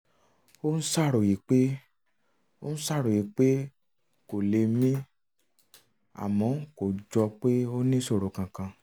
ó ń ṣàròyé pé ṣàròyé pé òun kò lè mí àmọ́ kò jọ pé ó níṣòro kankan